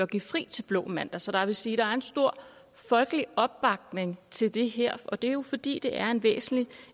give fri til blå mandag så jeg vil sige er en stor folkelig opbakning til det her og det er jo fordi det er en væsentlig